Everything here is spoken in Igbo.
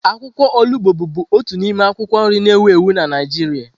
Akwụkwọ olugbo bụbu otu n'ime akwụkwọ nri na ewu ewu na Naịjirịa.